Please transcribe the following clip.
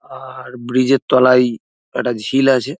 আ-আ-র bridge -এর তলাই একটা ঝিল আছে।